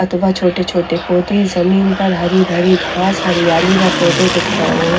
छोटे छोटे पोधे ज़मीन पर हरी भरी घास हरियाली व पोधे दिख रहे है।